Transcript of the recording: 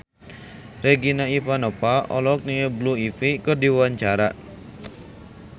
Regina Ivanova olohok ningali Blue Ivy keur diwawancara